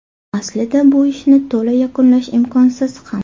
Aslida bu ishni to‘la yakunlash imkonsiz ham.